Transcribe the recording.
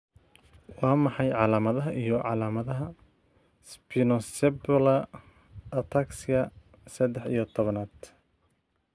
Waa maxay calaamadaha iyo calaamadaha Spinocerebellar ataxia sadax iyo tobanad